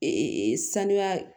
sanuya